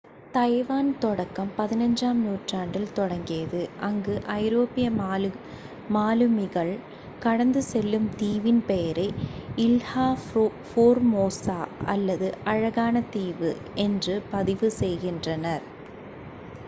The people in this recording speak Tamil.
தைவான் தொடக்கம் 15-ஆம் நூற்றாண்டில் தொடங்கியது அங்கு ஐரோப்பிய மாலுமிகள் கடந்து செல்லும் தீவின் பெயரை இல்ஹா ஃபோர்மோசா அல்லது அழகான தீவு என்று பதிவு செய்கின்றனர்